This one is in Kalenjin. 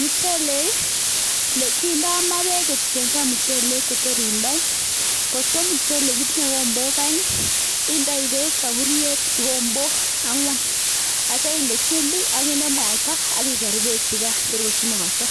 Muchelek ii, kindo maa beek kotien ge muchelek che tor indoi. Kotko muchelek itinye kigombok oeng indoi beek soburiet kigombok ang'wan ak kityo inde chumbik ak inde mwaita ak iger beechugan tor kochumukoso.